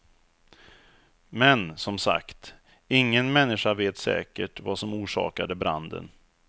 Men, som sagt, inget människa vet säkert vad som orsakade branden.